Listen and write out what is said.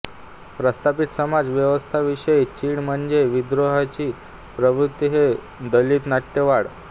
प्रस्थापित समाजव्यवस्थेविषयी चीड म्हणजे विद्रोहाची प्रवृत्ती हे दलित नाट्य वाड्